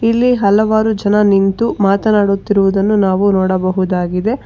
ಇಲ್ಲಿ ಹಲವಾರು ಜನ ನಿಂತು ಮಾತನಾಡುತ್ತಿರುವುದನು ನಾವು ನೋಡಬಹುದಾಗಿದೆ.